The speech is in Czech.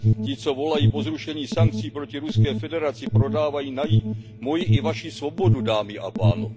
Ti, co volají po zrušení sankcí proti Ruské federaci, prodávají moji i vaši svobodu, dámy a pánové.